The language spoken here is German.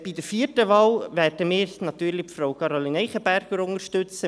Bei der vierten Wahl werden wir natürlich Frau Caroline Eichenberger unterstützen.